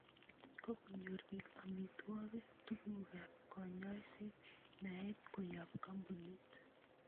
kokonyor biik amitwogiik, tugukaab konyoiseet, naeet koyob koombunit